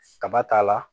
Kaba t'a la